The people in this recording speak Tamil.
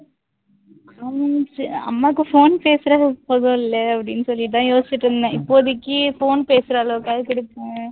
உம் அம்மாக்கு phone பேசுறதுக்கு அப்படின்னு சொல்லிட்டு தான் யோசிச்சுட்டு இருந்தேன், இப்போதைக்கு phone பேசுற அளவுக்காவது கொடுப்போம்